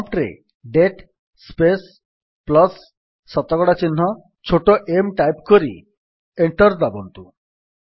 prompt ରେ date space plus ଶତକଡା ଚିହ୍ନ ଛୋଟ m ଟାଇପ୍ କରି ଏଣ୍ଟର୍ ଦାବନ୍ତୁ